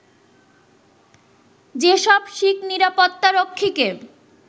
যেসব শিখ নিরাপত্তা রক্ষীকে